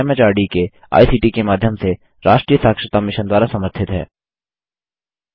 भारत सरकार के एमएचआरडी के आईसीटी के माध्यम से राष्ट्रीय साक्षरता मिशन द्वारा समर्थित है